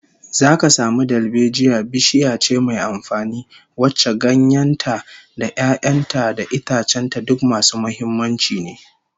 Zaka samu dalbejiya bishiya ce mai amfani, wacce ganyen ta da 'ya'yan ta da itacen ta duk masu muhimmanci ne